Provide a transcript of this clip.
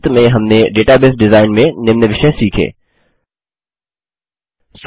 संक्षिप्त में हमने डेटाबेस डिजाइन में निम्न विषय सीखें 4